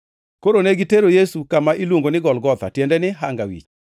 Koro ne gitero Yesu kama iluongo ni Golgotha (tiende ni “Hanga Wich”).